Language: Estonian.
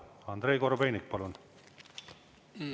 Andrei Korobeinik, palun!